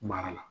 Mara la